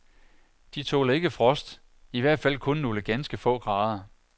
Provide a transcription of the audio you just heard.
De tåler ikke frost, i hvert fald kun nogle ganske få grader.